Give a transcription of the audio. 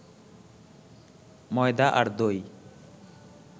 ময়দা আর দই